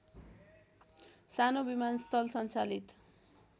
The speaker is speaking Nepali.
सानो विमानस्थल सञ्चालित